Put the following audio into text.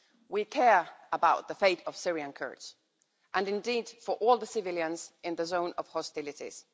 We care about the fate of Syrian Kurds and indeed for all the civilians in the zone of hostilities.